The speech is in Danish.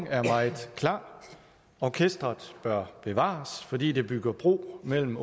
er meget klar orkestret bør bevares fordi det bygger bro mellem